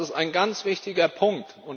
Das ist ein ganz wichtiger Punkt.